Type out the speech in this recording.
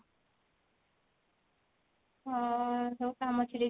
ହଁ ସବୁ କାମ ଛିଡେଇକି